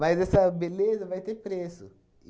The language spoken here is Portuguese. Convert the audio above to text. essa beleza vai ter preço.